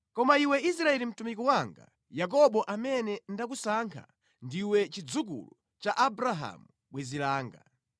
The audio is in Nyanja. “Koma Iwe Israeli mtumiki wanga, Yakobo amene ndakusankha, Ndiwe chidzukulu cha Abrahamu bwenzi langa.